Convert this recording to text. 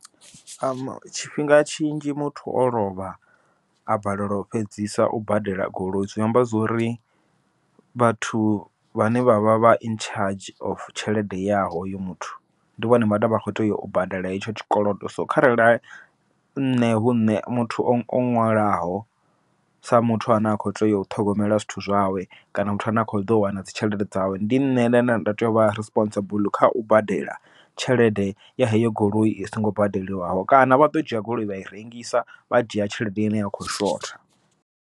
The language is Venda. Tshifhinga tshinzhi muthu o lovha a balelwa u fhedzisa u badela goloi zwi amba zwori, vhathu vhane vha vha vha in charge of tshelede ya hoyo muthu ndi vhone vhane kho teya u badela hetsho tshikolodo. So kharali nṋe hu nṋe muthu o ṅwalwaho sa muthu ane a kho tea u ṱhogomela zwithu zwawe, kana muthu ane a kho ḓo wana dzi tshelede dzawe ndi nṋe nda nda tea u vha responsible kha u badela tshelede ya heyo goloi i songo badeliwaho, kana vha ḓo dzhia goloi vha i rengisa vha dzhia tshelede ine ya kho shotha.